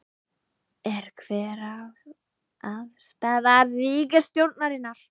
Er, hver er afstaða ríkisstjórnarinnar?